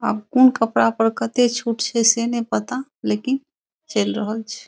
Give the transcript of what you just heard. अब कौन कपड़ा पर कते छूट छे से नै पता लेकिन चल रहल छे।